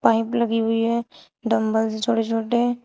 pipe लगी हुई है डम्बल है छोटे छोटे--